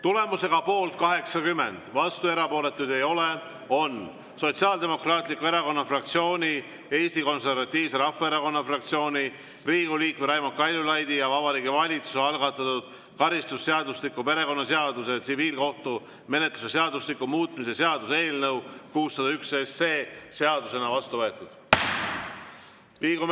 Tulemusega poolt 80, vastuolijaid ja erapooletuid ei ole, on Sotsiaaldemokraatliku Erakonna fraktsiooni, Eesti Konservatiivse Rahvaerakonna fraktsiooni, Riigikogu liikme Raimond Kaljulaidi ja Vabariigi Valitsuse algatatud karistusseadustiku, perekonnaseaduse ja tsiviilkohtumenetluse seadustiku muutmise seaduse eelnõu 601 seadusena vastu võetud.